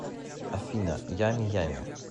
афина ями ями